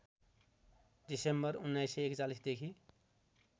December १९४१ देखि